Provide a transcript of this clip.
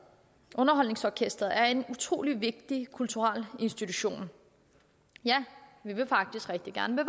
underholdningsorkestret er en utrolig vigtig kulturel institution ja vi vil faktisk rigtig gerne